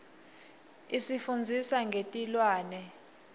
isifundzisa ngetilwane